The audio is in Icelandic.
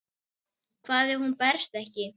Hvað ef hún berst ekki?